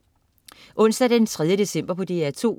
Onsdag den 3. december - DR2: